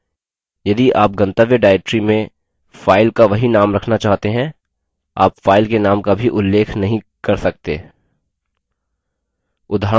यदि आप गंतव्य directory में file का वही name रखना चाहते हैं आप file के name का भी उल्लेख नहीं कर सकते उदाहरणस्वरूप